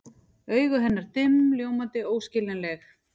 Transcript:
Augu hennar dimm, ljómandi, óskiljanleg.